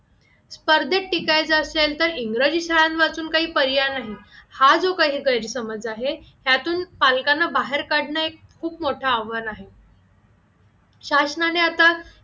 स्पर्धेत टिकायचा असेल तर इंग्रजी शाळा वाचून काही पर्याय नाही हा जो काही गैरसमज आहे त्यातून पालकांना बाहेर काढणे खूप मोठा आव्हान आहे शासनाने आता